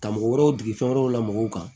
Ka mɔgɔ wɛrɛw degi fɛn wɛrɛw la mɔgɔw kan